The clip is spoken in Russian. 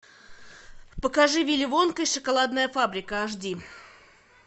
покажи вилли вонка и шоколадная фабрика аш ди